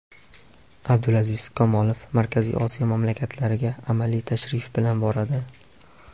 Abdulaziz Komilov Markaziy Osiyo mamlakatlariga amaliy tashrif bilan boradi.